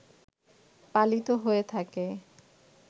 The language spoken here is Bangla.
পালিত হয়ে থাকে